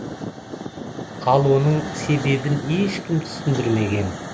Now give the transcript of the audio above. ал оның себебін ешкім түсіндірмеген